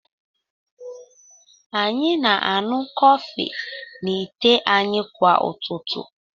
Anyị na-aṅụ kọfị n'ite anyị kwa ụtụtụ.